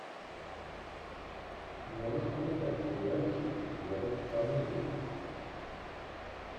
можешь показать сериальчик с верой фармигой